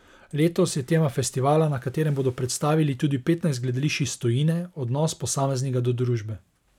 Letos je tema festivala, na katerem bodo predstavili tudi petnajst gledališč iz tujine, odnos posameznika do družbe.